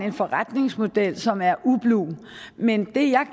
en forretningsmodel som er ublu men det jeg